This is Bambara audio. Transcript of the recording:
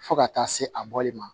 Fo ka taa se a bɔli ma